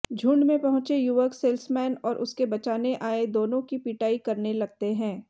झुंड में पहुंचे युवक सेल्समैन और उसके बचाने आए दोनों की पिटाई करने लगते हैं